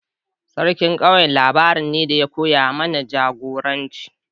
Sarkin daji labari ne da ya koya mana jagoranci.